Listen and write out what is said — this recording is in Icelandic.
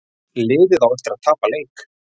Liðið á eftir að tapa leik